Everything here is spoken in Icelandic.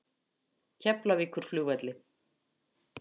Keflavíkurflugvelli